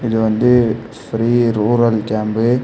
இது வந்து free rural camp .